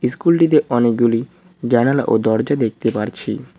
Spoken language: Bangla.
স্কুলটিতে অনেকগুলি জানালা ও দরজা দেখতে পারছি।